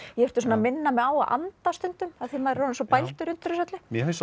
ég þurfti að minna mig á að anda stundum af því maður er orðinn svo bældur undir þessu öllu mér finnst